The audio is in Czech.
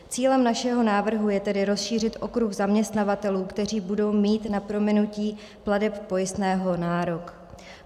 Cílem našeho návrhu je tedy rozšířit okruh zaměstnavatelů, kteří budou mít na prominutí plateb pojistného nárok.